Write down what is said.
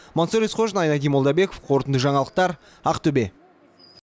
мансұр есқожин айнадин молдабеков қорытынды жаңалықтар ақтөбе